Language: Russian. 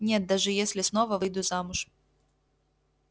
нет даже если снова выйду замуж